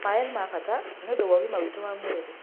Maĩ nĩ ma bata nĩ ũndũ wa ũgima witũ wwa mwĩrĩ.